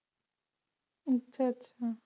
ਅੱਛਾ ਅੱਛਾ